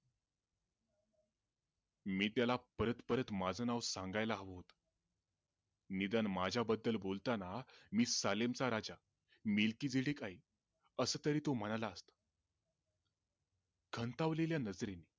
मी त्याला परत परत माझा नाव सांगायला हव होतं, निदान माझ्या बद्दल बोलतांना मी सालेमचा राजा मेलकीबीरीज असं तरी तो म्हणायला खांतवलेल्या नजरेन